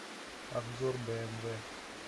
обзор бмв